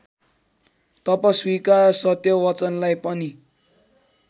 तपस्वीका सत्यवचनलाई पनि